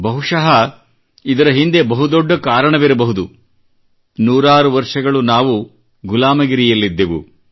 ಬಹಶಃ ಇದರ ಹಿಂದೆ ಬಹುದೊಡ್ಡ ಕಾರಣವಿರಬಹುದು ನೂರಾರು ವರ್ಷಗಳು ನಾವು ಗುಲಾಮಗಿರಿಯಲ್ಲಿದ್ದೆವು